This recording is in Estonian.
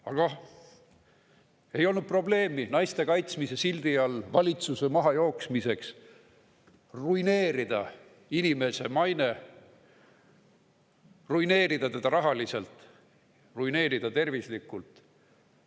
Aga ei olnud probleemi naiste kaitsmise sildi all valitsuse mahajooksmiseks ruineerida inimese maine, ruineerida teda rahaliselt, ruineerida tema tervist.